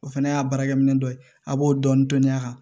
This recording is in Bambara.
O fana y'a baarakɛminɛn dɔ ye a b'o dɔɔnin dɔɔnin dɔɔnin a kan